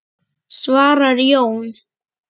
svarar Jón.